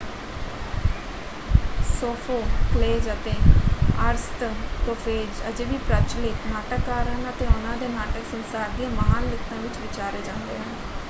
Sophocles ਅਤੇ Aristophanes ਅਜੇ ਵੀ ਪ੍ਰਚਲਿਤ ਨਾਟਕਕਾਰ ਹਨ ਅਤੇ ਉਹਨਾਂ ਦੇ ਨਾਟਕ ਸੰਸਾਰ ਦੀਆਂ ਮਹਾਨ ਲਿਖਤਾਂ ਵਿੱਚ ਵਿਚਾਰੇ ਜਾਂਦੇ ਹਨ।